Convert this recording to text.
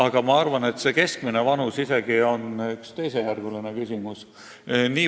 Ja ma arvan, et keskmine vanus on isegi teisejärguline küsimus.